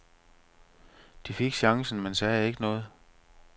De fik chancen, men sagde ikke noget.